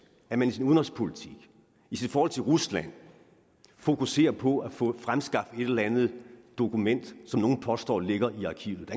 at man i sin udenrigspolitik i forhold til rusland fokuserer på at få fremskaffet et eller andet dokument som nogle påstår ligger i arkivet